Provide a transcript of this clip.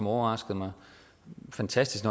overrasker mig fantastisk